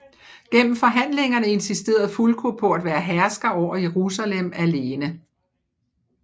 Gennem forhandlingerne insisterede Fulko på at være hersker over Jerusalem alene